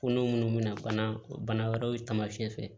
Ko n'u munnu me na bana wɛrɛw taamasiyɛ